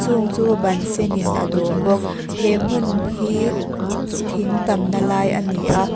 chung chu ban sen in a dawm bawk he hmun hi thing tamna lai a ni a.